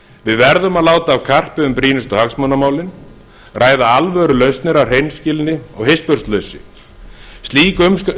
við verðum að láta af karpi um brýnustu hagsmunamálin ræða alvörulausnir af hreinskilni og hispursleysi slík